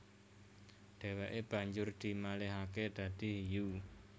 Dheweke banjur dimalihake dadi hiyu